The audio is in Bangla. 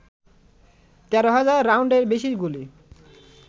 ১৩ হাজার রাউন্ডের বেশি গুলি